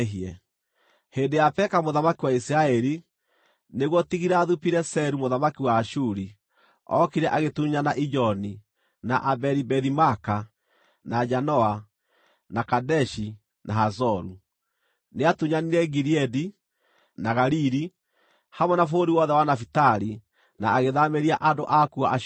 Hĩndĩ ya Peka mũthamaki wa Isiraeli, nĩguo Tigilathu-Pileseru, mũthamaki wa Ashuri, ookire agĩtunyana Ijoni, na Abeli-Bethi-Maaka, na Janoa, na Kadeshi na Hazoru. Nĩatunyanire Gileadi, na Galili, hamwe na bũrũri wothe wa Nafitali na agĩthaamĩria andũ aakuo Ashuri.